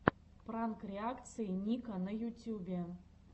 пранк реакции ника на ютюбе